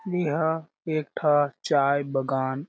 ए हा एक ठ चाय बागान--